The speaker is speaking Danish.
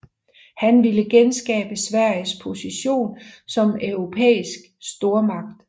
Han ville genskabe Sveriges position som europæisk stormagt